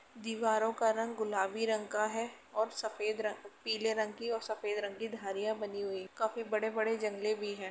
दीवारों का रंग गुलाबी रंग का है और सफेद रंग पीले रंग की और सफेद रंग की धारियाँ बनी हुई हैं। काफी बड़े-बड़े जंगले भी हैं।